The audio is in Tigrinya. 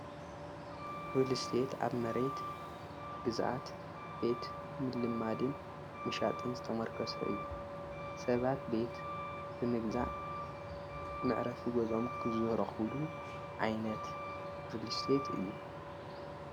ርልስቴት ኣብ መሬት ግዛኣት ቤት ምልማድን ምሻጥን ዘተመርከሶ እዩ ሰባት ቤት ብምግዛዕ ምዕረፊ ገዞኦም ክዝህረዂሉ ዓይነት ርልስቴት እዩ።